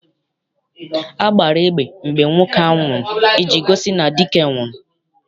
A gbara egbe mgbe nwoke ahụ nwụrụ iji gosi na dike nwụrụ.